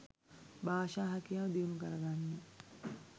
භාෂා හැකියාව දියුණු කරගන්න.